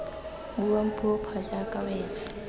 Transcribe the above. buang puo pha jaaka wena